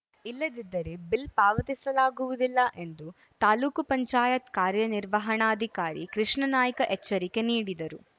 ಇಲ್ಲದಿದ್ದರೆ ಬಿಲ್‌ ಪಾವತಿಸಲಾಗುವುದಿಲ್ಲ ಎಂದು ತಾಲ್ಲೂಕು ಪಂಚಾಯತ್ ಕಾರ್ಯನಿರ್ವಹಣಾಧಿಕಾರಿ ಕೃಷ್ಣನಾಯ್ಕ ಎಚ್ಚರಿಕೆ ನೀಡಿದರು